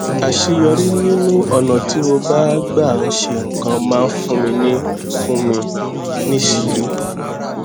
àṣeyọrí nínú ònà tí mo gbà ń ṣe nǹkan máa ń fún mi fún mi níṣìírí